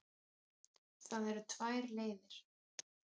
Það eru tvær leiðir.